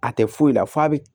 A tɛ foyi la f'a bi